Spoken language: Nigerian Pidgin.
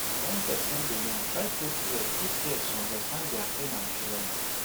when person dey yarn try put ear put ear to understand their pain and feelings